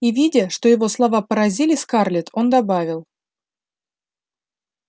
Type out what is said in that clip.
и видя что его слова поразили скарлетт он добавил